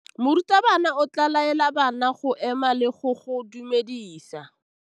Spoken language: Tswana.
Morutabana o tla laela bana go ema le go go dumedisa.